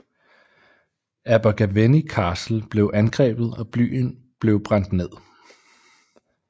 Abergavenny Castle blev angrebet og byen blev brændt ned